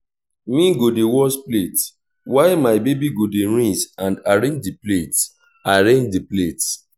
me go dey wash plate while my baby go dey rinse and arrange di plates arrange di plates